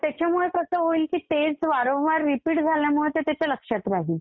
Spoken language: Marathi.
त्याच्यामुळं कसं होईल की तेच वारंवार रिपीट झाल्यामुळं ते त्याच्या लक्षात राहील.